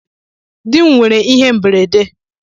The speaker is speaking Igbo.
Di m nwere ihe mberede